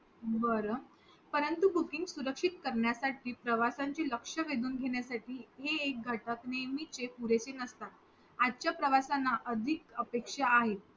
बर परंतु booking सुरक्षित करण्यासाठी प्रवासाची लक्ष वेधून घेण्यासाठी हे एक घटक नेहमीचे पुरेसे नसतात आजच्या प्रवाश्याना अगदीच अपेक्षा आहे